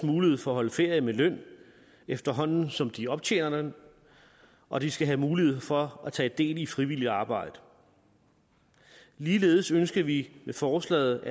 mulighed for at holde ferie med løn efterhånden som de optjener den og de skal have mulighed for at tage del i frivilligt arbejde ligeledes ønsker vi med forslaget